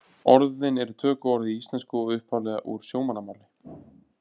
Orðin eru tökuorð í íslensku og upphaflega úr sjómannamáli.